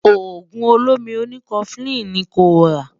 ògún ọ̀lómí òní koflin ní kò rà